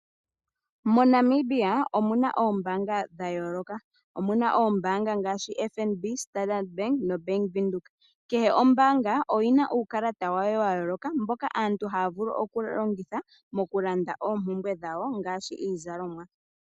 MoNamibia omuna oombanga dha yooloka. Omuna oombanga ngaashi FNB, Standard Bank noBank Windhoek. Kehe ombaanga oyina uukalata wayo wa yooloka, mboka aantu haya vulu okulongitha mokulanda oompumbwe dhawo ngaashi iizalomwa.